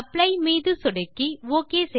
apply மீது சொடுக்கி okay